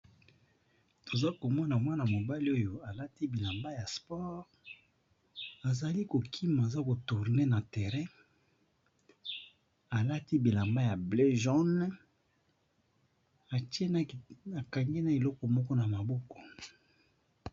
Toza komona mwana mobali oyo alati bilamba ya sport, azali ko kima aza ko tourne na terrain alati bilamba ya bleu jaune atie na akangi eloko moko na maboko.